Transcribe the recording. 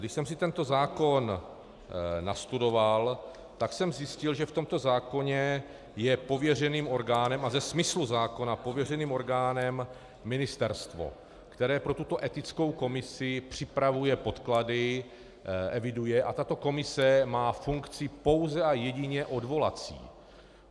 Když jsem si tento zákon nastudoval, tak jsem zjistil, že v tomto zákoně je pověřeným orgánem, a ze smyslu zákona pověřeným orgánem, ministerstvo, které pro tuto etickou komisi připravuje podklady, eviduje, a tato komise má funkci pouze a jedině odvolací.